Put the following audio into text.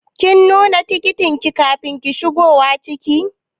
Kin nuna tikitin ki kafin shigowa ciki?